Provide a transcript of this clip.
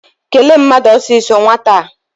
Kelee mmadụ ọsọọsọ nwata a!